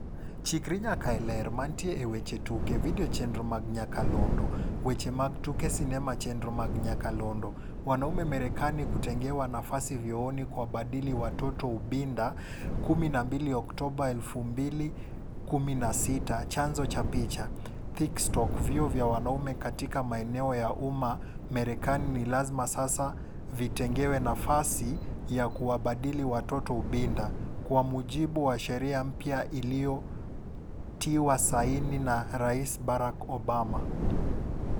Chikri nyaka e Ler. Mantie e weche tuke. Video chenro mag nyakalondo. Weche mag tuke sinema chenro mag nyakalondo. Wanaume Marekani kutengewa nafasi vyooni kuwabadili watoto ubinda 12 Oktoba 2016 Chanzo cha picha, Thinkstock Vyoo vya wanaume katika maeneo ya umma Marekani ni lazima sasa vitengewe nafasi ya kuwabadili watoto ubinda, kwa mujibu wa sheria mpya iliyotiwa saini na rais Barack Obama.